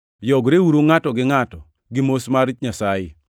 Yogreuru ngʼato gi ngʼato gi mos mar jo-Nyasaye.